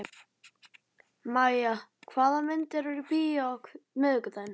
Mæja, hvaða myndir eru í bíó á miðvikudaginn?